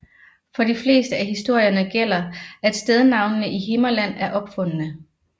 For de fleste af historierne gælder at stednavnene i Himmerland er opfundne